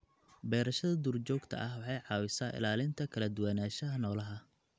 Beerashada duurjoogta ah waxay caawisaa ilaalinta kala duwanaanshaha noolaha.